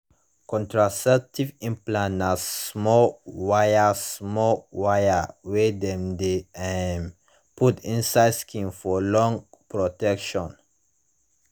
contraceptives implants na small wire small wire wey dem de um put inside skin for long protection